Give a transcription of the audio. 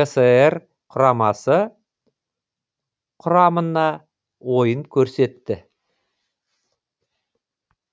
кср құрамасы құрамына ойын көрсетті